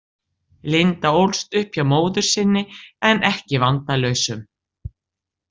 Linda ólst upp hjá móður sinni en ekki vandalausum.